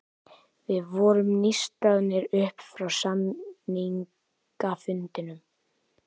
Við vorum nýstaðnir upp frá samningafundinum.